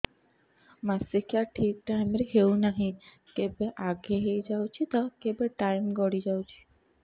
ମାସିକିଆ ଠିକ ଟାଇମ ରେ ହେଉନାହଁ କେବେ ଆଗେ ହେଇଯାଉଛି ତ କେବେ ଟାଇମ ଗଡି ଯାଉଛି